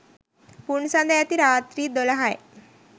පුන්සඳ ඇති රාත්‍රී දොළහයි.